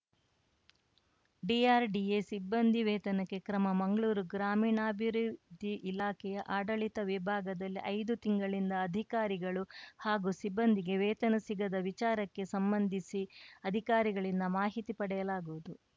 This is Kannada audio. ಡಿಆರ್‌ಡಿಎ ಸಿಬ್ಬಂದಿ ವೇತನಕ್ಕೆ ಕ್ರಮ ಮಂಗ್ಳೂರು ಗ್ರಾಮೀಣಾಭಿವೃದ್ಧಿ ಇಲಾಖೆಯ ಆಡಳಿತ ವಿಭಾಗದಲ್ಲಿ ಐದು ತಿಂಗಳಿಂದ ಅಧಿಕಾರಿಗಳು ಹಾಗೂ ಸಿಬ್ಬಂದಿಗೆ ವೇತನ ಸಿಗದ ವಿಚಾರಕ್ಕೆ ಸಂಬಂಧಿಸಿ ಅಧಿಕಾರಿಗಳಿಂದ ಮಾಹಿತಿ ಪಡೆಯಲಾಗುವುದು